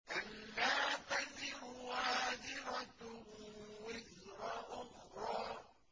أَلَّا تَزِرُ وَازِرَةٌ وِزْرَ أُخْرَىٰ